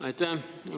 Aitäh!